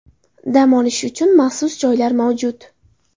Dam olish uchun maxsus joylar mavjud.